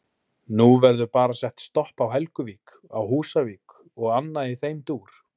Nú verður bara sett stopp á Helguvík, á Húsavík og annað í þeim dúr?